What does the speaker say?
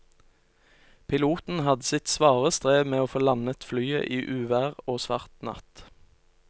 Piloten hadde sitt svare strev med å få landet flyet i uvær og svart natt.